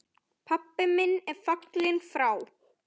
Pabbi minn er fallinn frá.